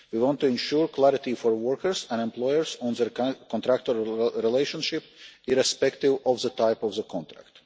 We want to ensure clarity for workers and employers on their contractual relationship, irrespective of the type of contract.